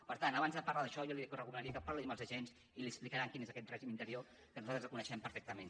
per tant abans de parlar d’això jo li recomanaria que parlés amb els agents i li explicaran quin és aquest règim interior que nosaltres el coneixem perfectament